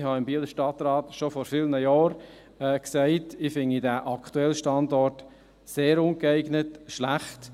Ich sagte im Bieler Stadtrat schon vor vielen Jahre, ich fände diesen aktuellen Standort sehr ungeeignet, schlecht.